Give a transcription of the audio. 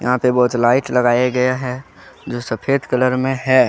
यहां पे बहुत लाइट लगाये गये है जो सफेद कलर में है।